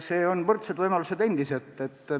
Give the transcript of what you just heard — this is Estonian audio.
Siin on võrdsed võimalused endiselt olemas.